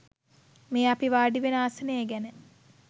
මේ අපි වාඩිවෙන ආසනය ගැන